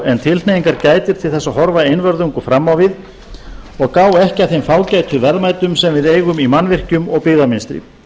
en tilhneigingar gætir til þess að horfa einvörðungu fram á við og gá ekki að þeim fágætu verðmætum sem við eigum í mannvirkjum og byggðamynstri